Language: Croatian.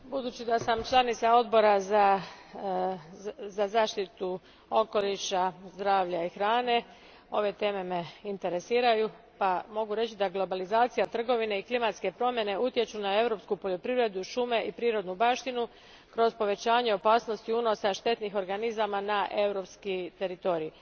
Gospodine predsjedniče, budući da sam članica Odbora za zaštitu okoliša, zdravlja i hrane ove teme me interesiraju, pa mogu reći da globalizacija trgovine i klimatske promjene utječu na europsku poljoprivredu, šume i prirodnu baštinu kroz povećanje opasnosti unosa štetnih organizama na europski teritorij.